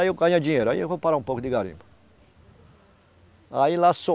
Aí eu ganho dinheiro, aí eu vou parar um pouco de garimpo. aí lá